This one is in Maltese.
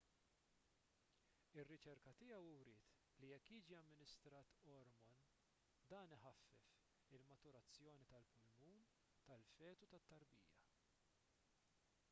ir-riċerka tiegħu wriet li jekk jiġi amministrat ormon dan iħaffef il-maturazzjoni tal-pulmun tal-fetu tat-tarbija